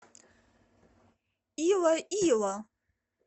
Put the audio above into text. илоило